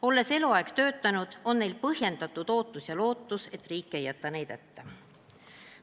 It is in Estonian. Olles eluaeg töötanud, on neil põhjendatud ootus ja lootus, et riik ei jäta neid hätta.